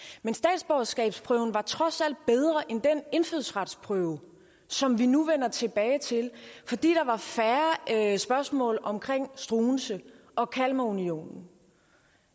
men statsborgerskabsprøven var trods alt bedre end den indfødsretsprøve som vi nu vender tilbage til fordi der var færre spørgsmål om struensee og kalmarunionen